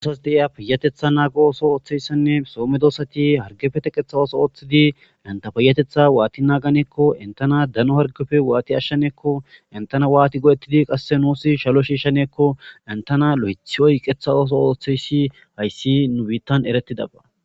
So mehiya payyatheththa naago ooso ooththiisenne meddoosathi harggepe theqeththa ooso ooththidi hanththa payyatheththaa waathi naaganeekko henththo naa dano harggepe waathi ashshaneekko waathi go7eththidi qassi nuussi shalo shiishshaneekko hanththe naa loyththi oyqqeththa oosuwaa ooththeyshi hayssi nu biiththan ereththidaba.